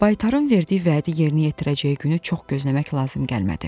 Baytarın verdiyi vədi yerinə yetirəcəyi günü çox gözləmək lazım gəlmədi.